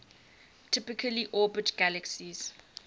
typically orbit galaxies